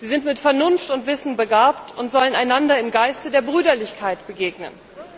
Sie sind mit Vernunft und Wissen begabt und sollen einander im Geiste der Brüderlichkeit begegnen.